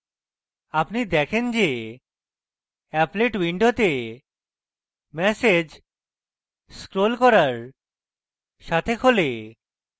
আপনি দেখেন যে applet window ম্যাসেজ scrolling করার সাথে খোলে